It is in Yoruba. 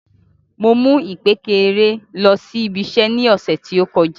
Mo mu ìkpékeré lọ sí ibi iṣẹ ní ọsẹ ti o kọjá.